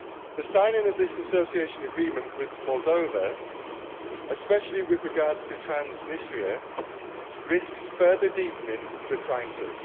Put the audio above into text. The signing of this Association Agreement with Moldova, especially with regard to Transnistria, risks further deepening the crisis.